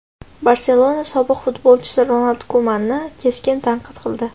"Barselona" sobiq futbolchisi Ronald Kumanni keskin tanqid qildi.